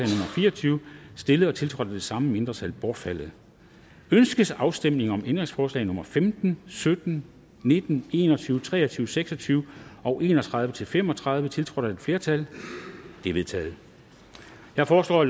fire og tyve stillet og tiltrådt af de samme mindretal bortfaldet ønskes afstemning om ændringsforslag nummer femten sytten nitten en og tyve tre og tyve seks og tyve og en og tredive til fem og tredive tiltrådt af et flertal de er vedtaget jeg foreslår at